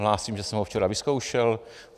Hlásím, že jsem ho včera vyzkoušel.